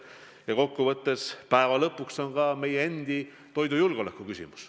Ja kokkuvõttes, päeva lõpuks on see ka meie riigi toidujulgeoleku küsimus.